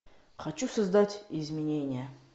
хочу создать изменения